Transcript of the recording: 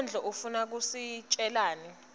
sonkondlo ufuna kusitjelani